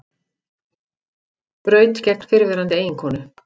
Braut gegn fyrrverandi eiginkonu